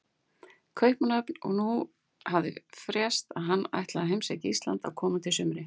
Kaupmannahöfn, og nú hafði frést að hann ætlaði að heimsækja Ísland á komandi sumri.